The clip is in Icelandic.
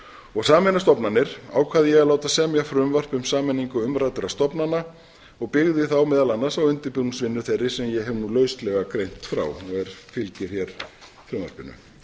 og sameina stofnanir ákvað ég að láta semja frumvarp um sameiningu umræddra stofnana og byggði þá meðal annars á undirbúningsvinnu þeirri sem ég hef nú lauslega greint frá og fylgir hér frumvarpinu